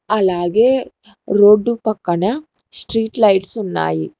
అలాగే రోడ్డు పక్కన స్ట్రీట్ లైట్స్ ఉన్నాయి.